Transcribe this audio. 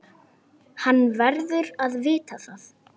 Hann verður að vita það.